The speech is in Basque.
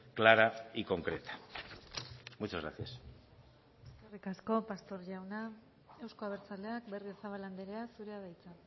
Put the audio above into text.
clara y concreta muchas gracias eskerrik asko pastor jauna euzko abertzaleak berriozabal andrea zurea da hitza